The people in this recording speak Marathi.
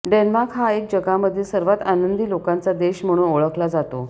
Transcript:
डेन्मार्क हा देश जगामधील सर्वात आनंदी लोकांचा देश म्हणून ओळखला जातो